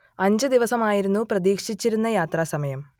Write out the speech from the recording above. അഞ്ച് ദിവസമായിരുന്നു പ്രതീക്ഷിച്ചിരുന്ന യാത്രാസമയം